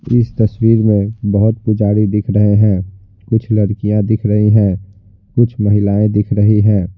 इस तस्वीर में बहुत पुजारी दिख रहे हैं कुछ लड़कियाँ दिख रही हैं कुछ महिलाएं दिख रही हैं।